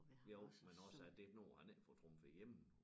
Jo men også at der noget han ikke at får trumfet igennem